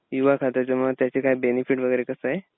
युवा खात्याचे मग त्याचे काय बेनेफिट वगैरे कसं आहे?